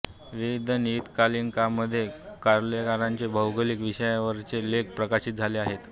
विविध नियतकालिकांमध्ये कार्लेकरांचे भौगोलिक विषयांवरचे लेख प्रकाशित झाले आहेत